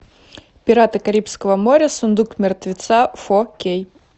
пираты карибского моря сундук мертвеца фо кей